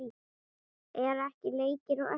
Eru ekki leikir á eftir?